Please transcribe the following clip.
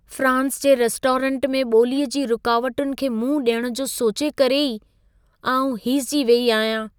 France जे restaurant में ॿोलीअ जी रुकावटुनि खे मुंहुं ॾियण जो सोचे करे ई आउं हीसिजी वेई अहियां।